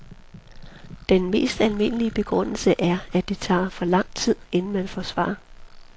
Den mest almindelige begrundelse er, at det tager for lang tid, inden man får svar.